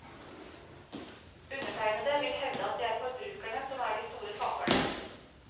Undertegnede vil hevde at det er forbrukerne som er de store taperne.